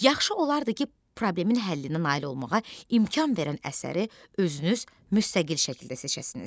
Yaxşı olardı ki, problemin həllinə nail olmağa imkan verən əsəri özünüz müstəqil şəkildə seçəsiniz.